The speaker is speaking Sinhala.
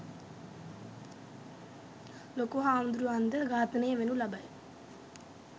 ලොකුහාමුදුරුවන් ද ඝාතනය වෙනු ලබයි